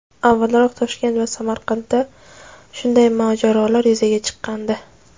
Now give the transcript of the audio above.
Avvalroq Toshkent va Samarqandda shunday mojarolar yuzaga chiqqandi.